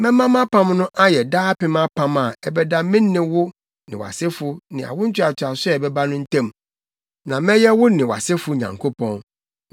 Mɛma mʼapam no ayɛ daapem apam a ɛbɛda me ne wo ne wʼasefo ne awo ntoatoaso a ɛbɛba no ntam. Na mɛyɛ wo ne wʼasefo Nyankopɔn.